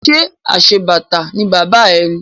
Ṣé aṣebàtà ni bàbá ẹ ni?